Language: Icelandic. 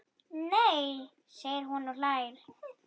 Nei segir hún og hlær.